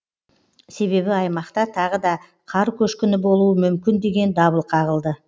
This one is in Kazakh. себебі аймақта тағы да қар көшкіні болуы мүмкін деген дабыл қағылды